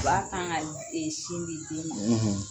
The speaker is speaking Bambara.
U b'a kan ka e sin di den ma